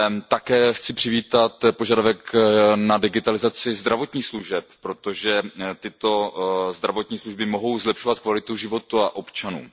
Také chci přivítat požadavek na digitalizaci zdravotních služeb, protože tyto zdravotní služby mohou zlepšovat kvalitu života občanů.